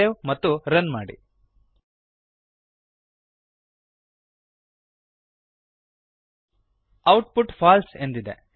save ಮತ್ತು run ಮಾಡಿ output false ಎಂದಿದೆ